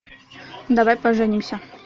давай поженимся